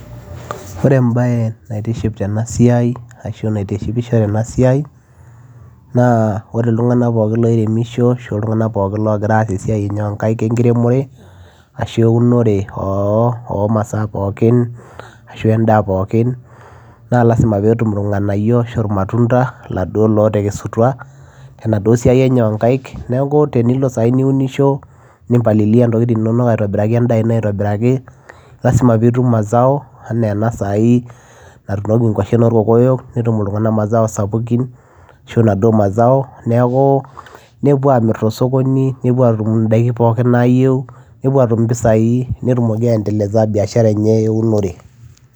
Ore embaye naitiship tena siai ashu naitishipisho tena siai naa ore iltung'anak pookin loiremisho ashu iltung'anak pookin loogira aas esiai enye o nkaek enkiremore ashu eunore oo o masaa pookin ashu endaa pookin naa lazima pee etum irng'anayio ashu ir matunda laduo laatekesuata tenaduo siai enye o nkaek. Neeku tenilo sai niunisho nim palilia ntokitin inonok aitobiraki endaa ino aitobiraki lazima piitum mazao enaa ena saai natuunoki nkwashen orkokoyo netum iltung'anak mazao sapukin ashu naduo mazao. Neeku nepuo aamir to sokoni, nepuo aatum ndaikin pookin naayeu, nepuo atum mpisai nitumoki ai endeleza biashara enye eunore.